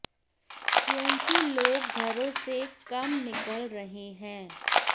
क्योंकि लोग घरों से कम निकल रहे हैं